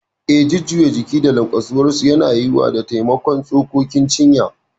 Eh, jujjuyawar jiki da lanƙwasuwarsu yana yiwuwa da taimakon tsokokin cinya.